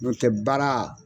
Nɔ tɛ baara.